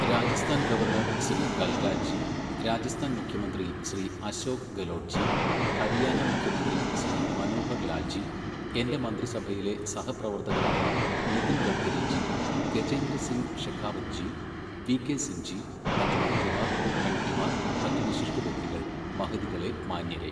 Rajasthan governor Shri Kalraj ji, Rajasthan മുഖ്യമന്ത്രി ശ്രീ അശോക് ഗെലോട്ട് ജി, ഹരിയാന മുഖ്യമന്ത്രി ശ്രീ മനോഹർ ലാൽ ജി, എന്റെ മന്ത്രിസഭയിലെ സഹപ്രവർത്തകരായ നിതിൻ ഗഡ്കരി ജി, ഗജേന്ദ്ര സിംഗ് ഷെഖാവത് ജി, വി കെ സിംഗ് ജി, മറ്റ് മന്ത്രിമാർ, എംപിമാർ, മറ്റ് വിശിഷ്ട വ്യക്തികൾ, മഹതികളെ മാന്യരേ!